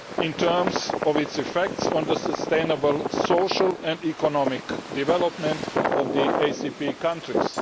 in terms of its effects on the sustainable, social and economic development of the ACP countries.